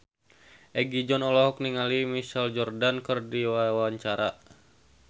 Egi John olohok ningali Michael Jordan keur diwawancara